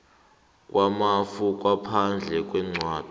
kwamafa ngaphandle kwencwadi